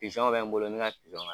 Pizɔnw bɛ n bolo n bɛ ka pizɔn